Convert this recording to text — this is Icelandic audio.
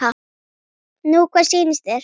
Nú hvað sýnist þér.